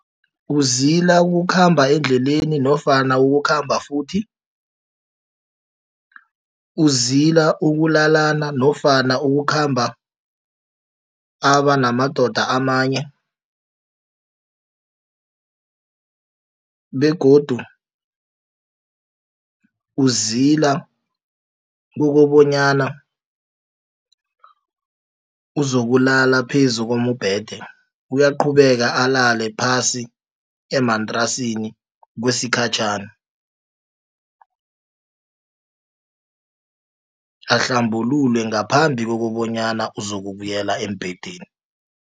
Uzila ukukhamba endleleni nofana ukukhamba futhi, uzila ukulalana nofana ukukhamba abanamadoda amanye begodu uzila kokobanyana uzokulala phezu kombhede uyaqhubeka alale phasi emantrasini kwesikhatjhana ahlambululwe ngaphambi kokobanyana azokubuyela embhedeni.